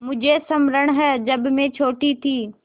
मुझे स्मरण है जब मैं छोटी थी